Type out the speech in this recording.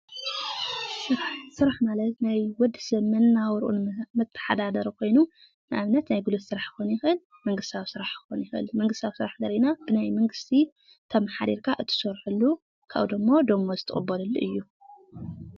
ስራሕ ማለት ናይ ወድሰብ መነባብሮ መተሓዳደሪ ኾይኑ ንኣብነት ናይ ጉልበት ስራሕ ክኾን ይኽእል ደ።፣ናይ መንግስቲ ስራሕ ከኾን ይኽእል። መንግስታዊ ስራሕ ተቆፂርካ ትሰርሐሉ እዩ።